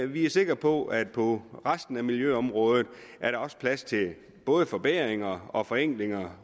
vi er sikre på at på resten af miljøområdet er der også plads til både forbedringer og forenklinger